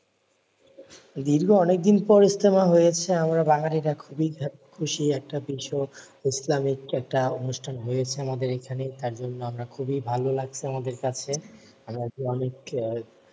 দীর্ঘ অনেকদিন পরে ইজতেমা হয়েছে আমরা বাঙ্গালীরা খুবই খুশি একটা বিষয়। ইসলামিক একটা অনুষ্ঠান হয়েছে আমাদের এইখানে, তার জন্য আমরা খুবই ভালো লাগছে আমাদের কাছে । আমরা যে অনেকে,